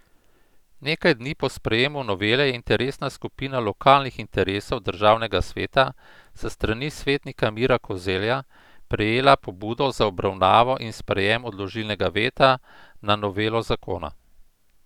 Nekaj dni po sprejemu novele je interesna skupina lokalnih interesov državnega sveta s strani svetnika Mira Kozelja prejela pobudo za obravnavo in sprejem odložilnega veta na novelo zakona.